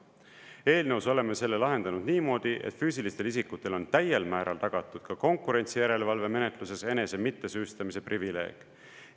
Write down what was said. Eelnõus oleme selle lahendanud niimoodi, et füüsilistele isikutele on täiel määral tagatud ka konkurentsijärelevalve menetluses enese mittesüüstamise privileeg.